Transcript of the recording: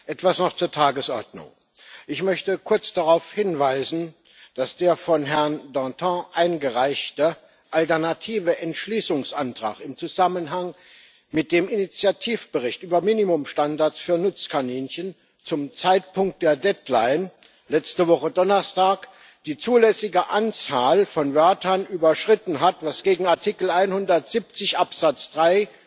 Etwas noch zur Tagesordnung Ich möchte kurz darauf hinweisen, dass der von Herrn Dantin eingereichte alternative Entschließungsantrag im Zusammenhang mit dem Initiativbericht über Minimumstandards für Nutzkaninchen zum Zeitpunkt der Deadline letzte Woche Donnerstag die zulässige Anzahl von Wörtern überschritten hat, was gegen Artikel 170 Absatz 3